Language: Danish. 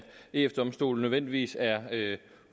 eu domstolen nødvendigvis er